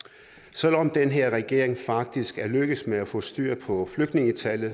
selv om den her regering faktisk er lykkedes med at få styr på flygtningetallet